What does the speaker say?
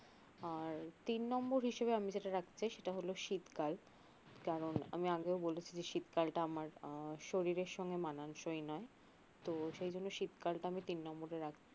আর তিন নম্বর হিসাবে আমি যেটা রাখতে চাই সেটা হল শিতকাল কারণ আমি আগেও বলেছি যে শীতকালটা আমার আহ শরীরের সঙ্গে মানানসই নয় তো সেই জন্য শীতকালটা আমি তিন নম্বরে